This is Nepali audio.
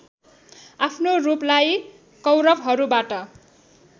आफ्नो रूपलाई कौरवहरूबाट